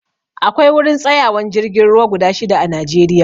Akwai wurin tsayawan jirgin ruwa guda shida a najeriya